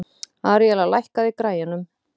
Aríella, lækkaðu í græjunum.